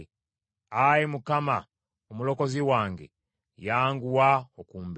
Ayi Mukama Omulokozi wange, yanguwa okumbeera.